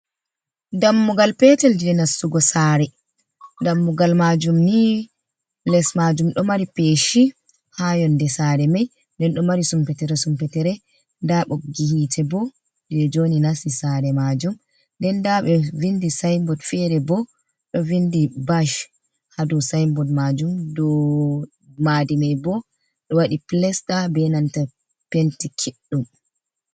Dammugal petel je nastugo sare, dammugal majum ni les majum ɗo mari peshi, ha yonde sare mai nden ɗo mari sumpetere sumpetere, da ɓoggihite bo je njoni nasti sare majum, nden nda ɓe vindi sayinbord fere bo ɗo vindi bash hado sayinbord majum do madimai bo ɗo wadi plasta be nanta penti kiɗɗum.